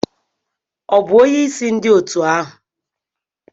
Ọ bụ onyeisi ndị otu ahụ?